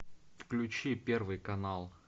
включи первый канал